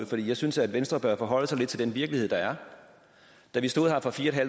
for jeg synes at venstre bør forholde sig lidt til den virkelighed der er da vi sad her for fire